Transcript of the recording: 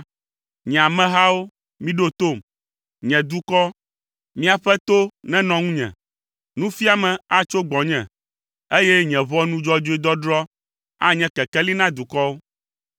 “Nye amehawo, miɖo tom, nye dukɔ, miaƒe to nenɔ ŋunye: Nufiame atso gbɔnye, eye nye ʋɔnu dzɔdzɔe dɔdrɔ̃ anye kekeli na dukɔwo.